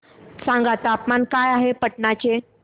सांगा तापमान काय आहे पाटणा चे